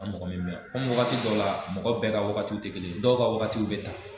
A mɔgɔ be min wagati dɔ la, mɔgɔ bɛɛ ka wagatiw te kelen ye. Dɔw ka wagati bɛ ta.